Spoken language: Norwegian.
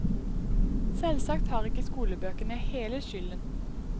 Selvsagt har ikke skolebøkene hele skylden.